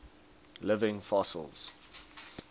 living fossils